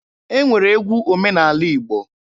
E nwere egwu omenaala Igbo